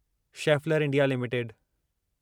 Schaeffler India limited